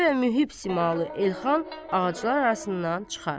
Zində və mühib simalı Elxan ağaclar arasından çıxar.